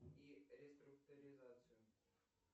и реструктуризацию